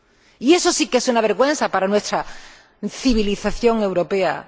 y eso sí que es una vergüenza para nuestra civilización europea.